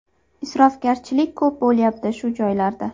Isrofgarchilik ko‘p bo‘lyapti shu joylarda.